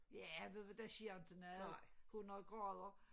Ja ved du hvad der sker inte noget 100 grader